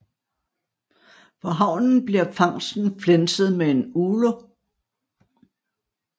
På havnen bliver fangsten flænset med en ulo